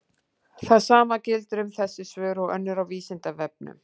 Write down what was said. Það sama gildir um þessi svör og önnur á Vísindavefnum.